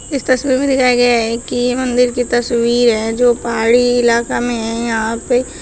इस तस्वीर में दिखाया गया है कि ये मंदिर की तस्वीर है जो पहाड़ी इलाका मे है यहां पे।